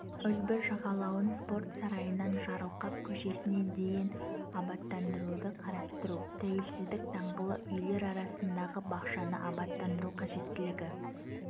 үлбі жағалауын спорт сарайынан жарылқап көшесіне дейін абаттандыруды қарастыру тәуелсіздік даңғылы үйлер арасындағы бақшаны абаттандыру қажеттілігі